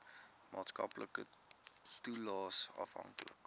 maatskaplike toelaes afhanklik